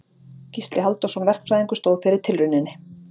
Gísli Halldórsson verkfræðingur stóð fyrir tilrauninni.